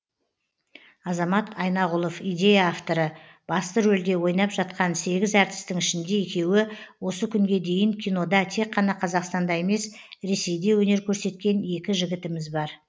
азамат айнағұлов идея авторы басты рөлде ойнап жатқан сегіз әртістің ішінде екеуі осы күнге дейін кинода тек қана қазақстанда емес ресейде өнер көрсеткен екі жігітіміз бар